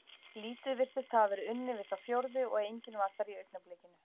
Lítið virtist hafa verið unnið við þá fjórðu og enginn var þar í augnablikinu.